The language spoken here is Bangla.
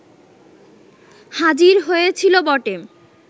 হাজির হয়েছিল বটে